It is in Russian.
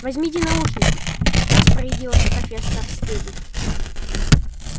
возьмите наушники распорядилась профессор стебль